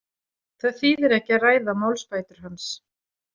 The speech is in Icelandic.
Það þýðir ekki að ræða málsbætur hans.